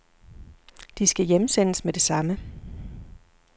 De skal hjemsendes med det samme.